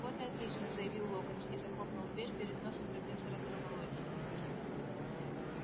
вот и отлично заявил локонс и захлопнул дверь перед носом профессора травологии